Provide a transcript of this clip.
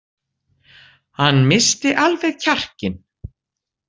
Hann missti alveg kjarkinn.